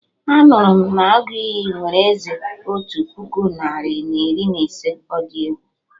Anụrụ m na Aguiyi nwere eze otu puku narị na iri na ise, ọ dị egwu!